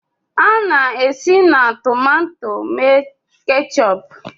A na-esi na tomato mee keechup